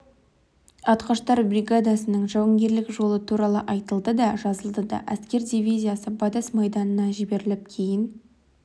атқыштар бригадасының жауынгерлік жолы туралы айтылды да жазылды да әскер дивизиясы батыс майданына жіберіліп кейін